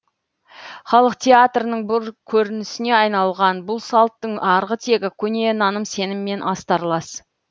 халық театрының бір көрінісіне айналған бұл салттың арғы тегі көне наным сеніммен астарлас